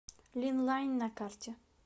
линлайн на карте